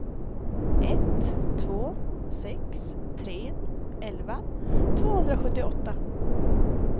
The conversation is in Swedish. ett två sex tre elva tvåhundrasjuttioåtta